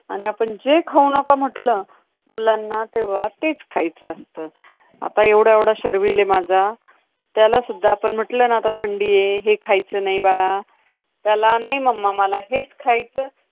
आणि आपण जे खाऊ नका म्हटलं, मुलांना तेव्हा तेच खायचं असतं. आता एवढा एवढा शर्विल आहे माझा. त्याला सुद्धा आपण म्हटलं ना, आता थंडीये, हे खायचं नाही बाळा! त्याला नाही momma मला हेच खायचं.